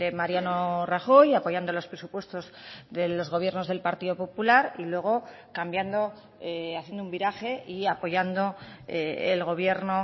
mariano rajoy apoyando los presupuestos de los gobiernos del partido popular y luego cambiando haciendo un viraje y apoyando el gobierno o